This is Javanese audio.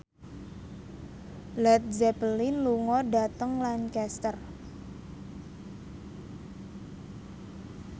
Led Zeppelin lunga dhateng Lancaster